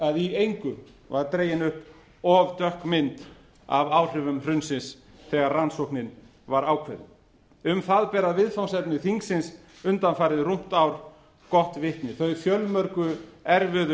að í engu var dregin upp of dökk mynd af áhrifum hrunsins þegar rannsóknin var ákveðin um það bera viðfangsefni þingsins undanfarið rúmt ár gott vitni þau fjölmörgu erfiðu